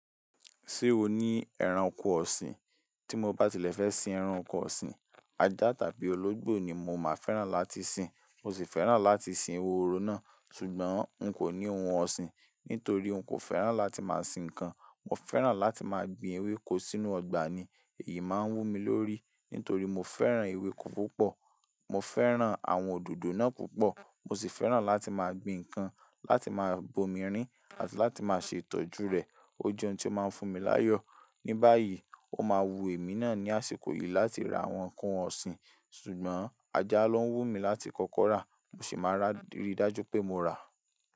Ṣé o ní ẹran oko ọ̀sìn? Tí mo bá tilẹ̀ fẹ́ sin ẹran oko ọ̀sìn, ajá tàbí ológbò ni mo máa fẹ́ràn láti sin. Mo sì fẹ́ràn láti sin ehoro náà, ṣùgbọ́n n kò ní ohun ọ̀sìn. Nítorí n kò fẹ́ràn láti máa sin nǹkan. Mo fẹ́ràn láti máa gbin ewéko sínú ọgbà ni. Èyí máa ń wú mi lórí. Nítorí mo fẹ́ràn ewéko púpọ̀. Mo fẹ́ràn àwọn òdòdó náà púpọ̀. Mo sì fẹ́ràn láti máa gbin nǹkan, láti máa bomi rin àti láti máa ṣe ìtọ́jú rẹ̀. Ó jẹ́ ohun tí ó máa ń fún mi láyọ̀. Ní báyìí, o máa wu èmi náà ní àsìkò yìí láti ra àwọn ǹkan ọ̀sìn. Ṣùgbọ́n ajá ló ń wú mi láti kọ́kọ́ rà, mo sì máa rí i dájú pé mo rà.